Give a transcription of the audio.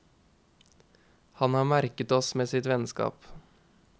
Han har merket oss med sitt vennskap.